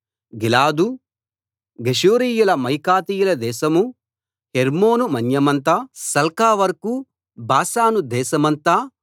గిలాదూ గెషూరీయుల మాయకాతీయుల దేశమూ హెర్మోను మన్యమంతా సల్కావరకూ బాషాను దేశమంతా